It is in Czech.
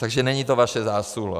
Takže není to vaše zásluha.